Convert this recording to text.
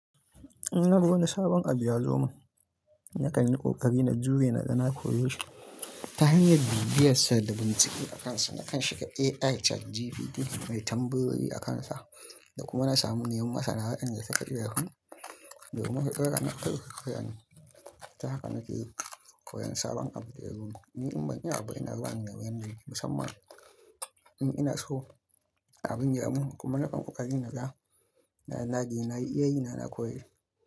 Inna ga wani sabon abu ya zo min, na kan yin ƙoƙari na jure na naga na koyi shi ta hanyar bibiyar sa da bin ciki akansa. Nakan shiga AI ChatGPT nai tambayoyi akansa da kuma na sami manyan masana wadanda suka iya shi, da kuma su daura ni a kai. Ta haka nake koyan sabon abu da yazo min. Ni in ban iya abu ina zuwa in neme in da yake musamman in ina so abin ya mun kuma nakan ƙoƙarin na ga, na na dage, na yi iyayi na na koyi.